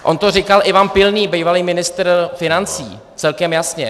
On to říkal Ivan Pilný, bývalý ministr financí, celkem jasně.